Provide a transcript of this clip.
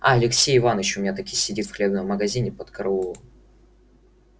а алексей иваныч у меня таки сидит в хлебном магазине под караулом